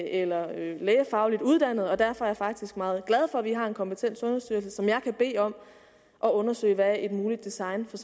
eller lægefagligt uddannet og derfor er jeg faktisk meget glad for at vi har en kompetent sundhedsstyrelse som jeg kan bede om undersøge hvad et muligt design for